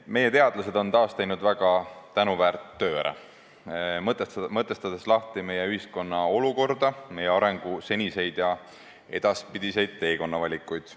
Meie teadlased on taas teinud ära väga tänuväärt töö, mõtestades lahti meie ühiskonna olukorda, meie arengu seniseid ja edaspidiseid teekonnavalikuid.